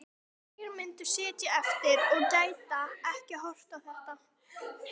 Hverjir myndu sitja eftir og gætu ekki horft á þetta?